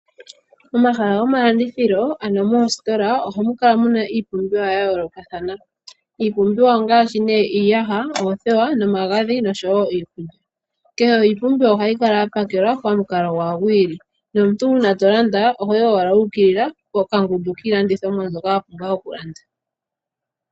Pomahala gomalandithilo, ano moositola ohamu kala mu na iipumbiwa ya yoolokathana. Iipumbiwa ongaashi iiyaha, oothewa, omagadhi noshowo iikulya. Kehe iipumbiwa ohayi kala ya pakelwa pamukalo gwawo gwi ili. Uuna omuntu ta landa ohayi owala u ukilila pokandumba kiilandithwa mbyoka wa pumbwa okulanda.